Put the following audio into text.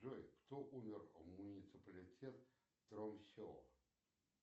джой кто умер в муниципалитет тромсе